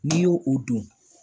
N'i y'o o don